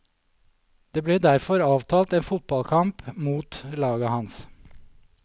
Det ble derfor avtalt en fotball kamp mot laget hans.